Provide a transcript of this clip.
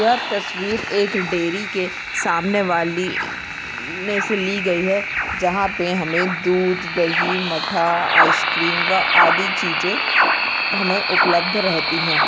यह तस्वीर एक डेरी के सामने वाली ने से ली गई है जहां पे हमे दुध दही मठ्ठा आइसक्रीम व आदि चीज़े हमे उपलब्ध रहती है।